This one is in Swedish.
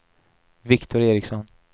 Viktor Ericsson